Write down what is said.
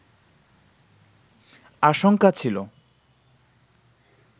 আশঙ্কা ছিলো